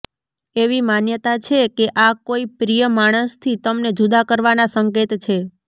એવી માન્યતા છે કે આ કોઈ પ્રિય માણસથી તમને જુદા કરવાના સંકેત છે